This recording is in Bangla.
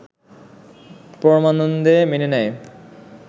পরমানন্দে মেনে নেয়